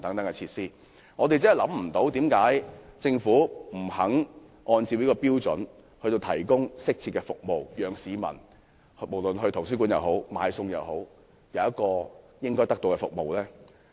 我真的不明白，為何政府不願意按照這個標準來提供適切的服務，讓到圖書館或買菜的市民可以得到應有的服務。